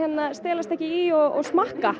stelast ekki í og smakka